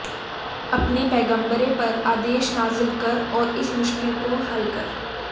अपने पैग़म्बरे पर आदेश नाज़िल कर और इस मुश्किल को हल कर